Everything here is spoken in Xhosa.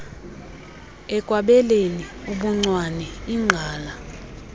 ekwabeleni ubuncwane igqala